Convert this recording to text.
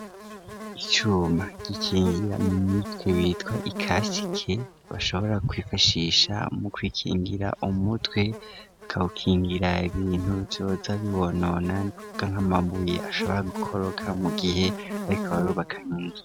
Icuma, gikingira mu mutwe ,witwa ikasike ,bashobora kwifashisha mu kwikingira umutwe, bakabukingira ibintu bizoza bibonona, nikuvuga nk'amambuye, ashobora gukoroka mu gihe barikabarubaka nkinzu.